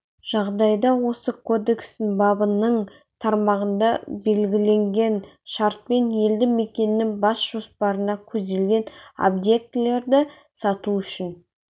жағдайда осы кодекстің бабының тармағында белгіленген шартпен елді мекеннің бас жоспарында көзделген объектілерді салу үшін